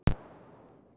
Því mamma var nagli.